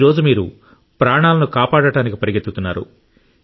ఈ రోజు మీరు ప్రాణాలను కాపాడటానికి పరుగెత్తుతున్నారు